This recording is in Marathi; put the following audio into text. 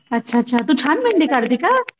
अच्छा अच्छा तू छान मेहेंदी काढते का?